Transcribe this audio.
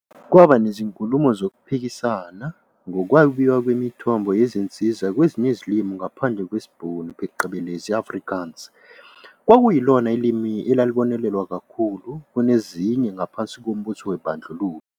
Kwaba nezinkulumo zokuphikisana ngokwabiwa kwemithombo yezinsiza kwezinye izilimi ngaphandle kwesiBhunu phecelezii-Afrikaans, okwakuyilona limi elalibonelelwa kakhulu kunezinye ngaphansi kombuso wobandlululo.